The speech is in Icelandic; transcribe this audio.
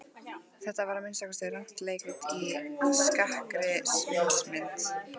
Þetta var að minnsta kosti rangt leikrit í skakkri sviðsmynd.